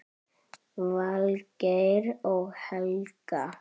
Valgeir og Helga.